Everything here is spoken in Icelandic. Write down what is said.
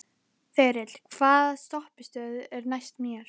Þyrill, hvaða stoppistöð er næst mér?